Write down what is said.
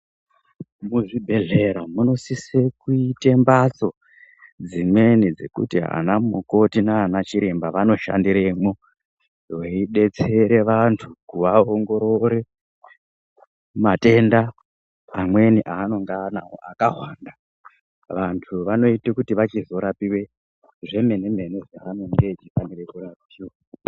Muzvibhehlera munosise kuita mbatso dzimweni dzekuti anamukoti nanachiremba vanoshandiremwo veidetsere vanhu kuvaongororore matenda amweni anonga anawo akahwanda vantu vanoite kuti vachizoraipwe zvemenemene zvaanenge eifanire kurapiwa.